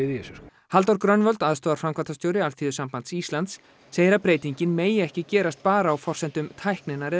í þessu sko Halldór Grönvold aðstoðarframkvæmdastjóri Alþýðusambands Íslands segir að breytingin megi ekki gerast bara á forsendum tækninnar eða